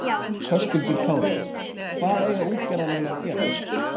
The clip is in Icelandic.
Höskuldur Kári: Hvað eiga útgerðarmenn að gera?